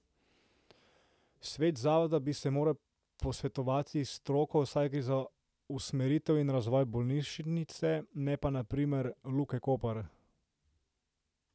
Svet zavoda bi se moral posvetovati s stroko, saj gre za usmeritev in razvoj bolnišnice, ne pa, na primer, Luke Koper.